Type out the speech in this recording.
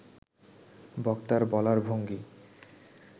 বক্তার বলার ভঙ্গি